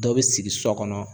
Dɔ be sigi sɔ kɔnɔ